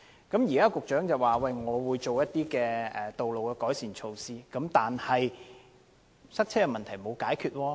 局長表示會進行道路改善措拖，但塞車問題並沒有得到解決。